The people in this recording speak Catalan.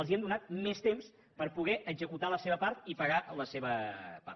els hem donat més temps per poder executar la seva part i pagar la seva part